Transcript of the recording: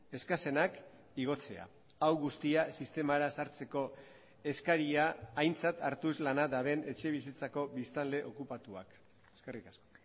eskasenak igotzea hau guztia sistemara sartzeko eskaria aintzat hartuz lana daben etxebizitzako biztanle okupatuak eskerrik asko